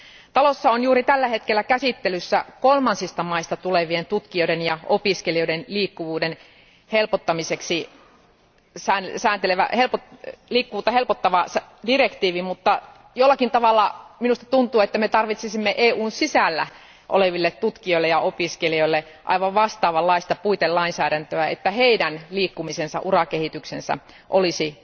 Talossa on juuri tällä hetkellä käsittelyssä kolmansista maista tulevien tutkijoiden ja opiskelijoiden liikkuvuutta helpottava direktiivi, mutta jollakin tavalla minusta tuntuu, että me tarvitsisimme EUn sisällä oleville tutkijoille ja opiskelijoille aivan vastaavanlaista puitelainsäädäntöä, että heidän liikkumisensa ja urakehityksensä olisi